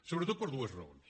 sobretot per dues raons